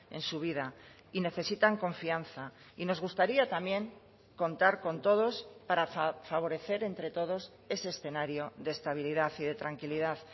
en su vida y necesitan confianza y nos gustaría también contar con todos para favorecer entre todos ese escenario de estabilidad y de tranquilidad